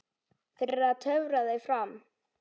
Fyrir að töfra þau fram.